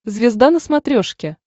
звезда на смотрешке